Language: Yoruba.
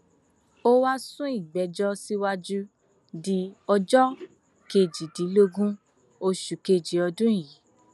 ó wáá sún ìgbẹjọ síwájú di ọjọ kejìdínlógún oṣù kejì ọdún yìí